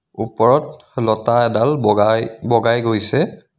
ওপৰত লতা এডাল বগাই বগাই গৈছে.